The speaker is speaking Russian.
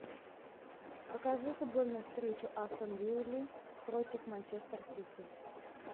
покажи футбольную встречу астон виллы против манчестер сити